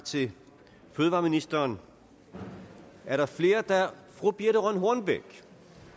til fødevareministeren er der flere der ønsker fru birthe rønn hornbech